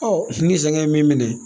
ni saŋɛ ye min minɛ